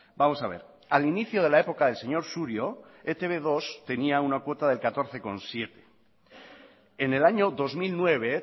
vamos a ver al inicio de la época del señor surio e te be dos tenía una cuota del catorce coma siete en el año dos mil nueve